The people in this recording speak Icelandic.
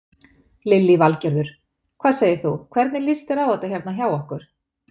Lillý Valgerður: Hvað segir þú, hvernig líst þér á þetta hérna hjá okkur?